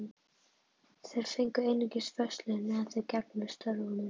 Þeir fengu einungis föst laun meðan þeir gegndu störfunum.